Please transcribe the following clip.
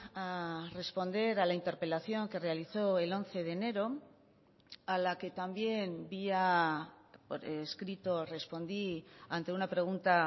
a responder a la interpelación que realizó el once de enero a la que también vía escrito respondí ante una pregunta